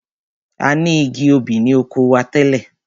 A ni igi obì ni oko wa tẹ́lẹ̀.